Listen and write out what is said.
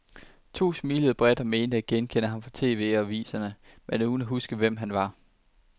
To smilede bredt og mente at genkende ham fra tv og aviserne, men uden at huske hvem han er.